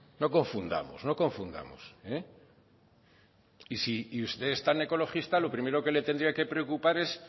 no confundamos no confundamos eh y si usted es tan ecologista lo primero que le tendría que preocupar es